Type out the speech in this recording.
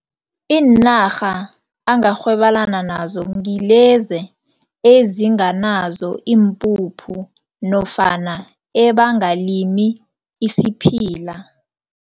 Iinarha angarhwebelana nazo ngilezi ezinganazo iimpuphu nofana ebangalimi isiphila.